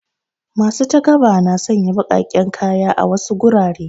Masu takaba na sanya baƙaƙen kaya a wasu gurare.